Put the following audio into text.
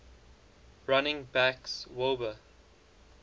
running backs wilbur